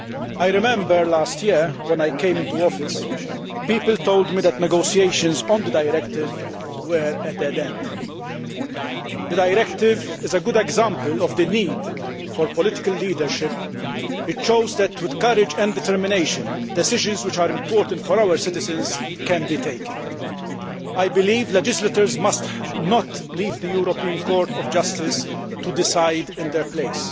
I remember last year, when I took up office, people told me that negotiations on the directive were at a dead end. The directive is a good example of the need for political leadership it shows that, with courage and determination, decisions which are important for our citizens can be taken. I believe that legislators must not leave the European Court of Justice to decide in their place,